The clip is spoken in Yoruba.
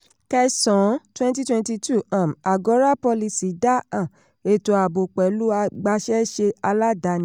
kẹsàn-án twenty twenty two um agora policy dá um ètò ààbò pẹ̀lú agbáṣẹ́ṣe aládani.